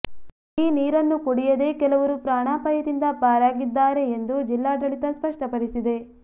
ಈ ನೀರನ್ನು ಕುಡಿಯದೇ ಕೆಲವರು ಪ್ರಾಣಾಪಾಯದಿಂದ ಪಾರಾಗಿದ್ದಾರೆ ಎಂದು ಜಿಲ್ಲಾಡಳಿತ ಸ್ಪಷ್ಟಪಡಿಸಿದೆ